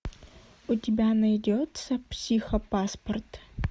у тебя найдется психопаспорт